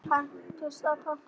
Punktur og basta.